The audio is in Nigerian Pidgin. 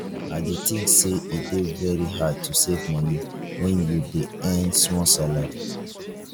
i dey think say e dey very hard to save money when you dey earn small salary